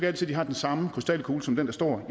altid de har den samme krystalkugle som den der står